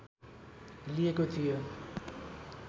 लिएको थियो